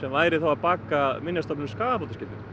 væri þá að baka Minjastofnun skaðabótaskyldu